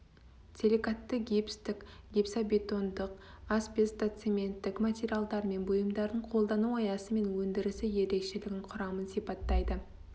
силикатты гипстік гипсобетондық асбестоцементтік материалдар мен бұйымдардың қолдану аясы мен өндірісі ерекшелігін құрамын сипаттайды